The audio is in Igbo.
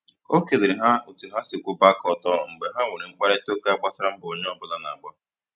O kelere ha otu ha siri kwụba aka ọtọ mgbe ha nwere mkparịtaụka gbasara mbọ onye ọbụla na - agba